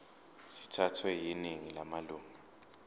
sithathwe yiningi lamalunga